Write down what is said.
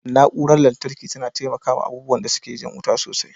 Na'urar sitabilarza tana taimakawa abubuwan da suke jan wuta sosai.